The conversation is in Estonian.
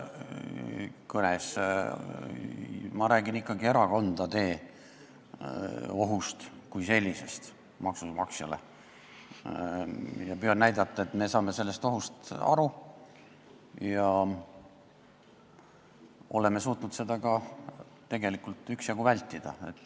Mina räägin ikkagi erakondade poolt maksumaksjale tekitatavast ohust kui sellisest, näidates, et meie saame sellest ohust aru ja oleme suutnud seda tegelikult ka üksjagu vältida.